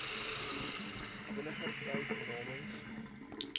eniger tyd namens